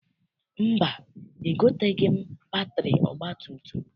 Mba, egoteghị m batịrị ọgbatumtum.